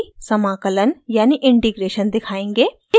अब हम rc समाकलन यानि integration दिखायेंगे